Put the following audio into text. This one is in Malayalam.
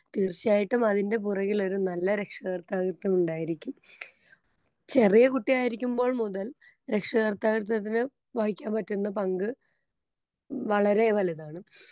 തീർച്ചയായിട്ടും അതിന്റെ പുറകിലൊരു നല്ല രക്ഷാകർതൃത്വം ഉണ്ടായിരിക്കും. ചെറിയ കുട്ടിയായിരിക്കുമ്പോൾ മുതൽ രക്ഷകർതൃത്വത്തിന് വഹിക്കാൻ പറ്റുന്ന പങ്ക് വളരേ വലുതാണ്.